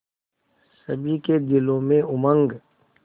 सभी के दिलों में उमंग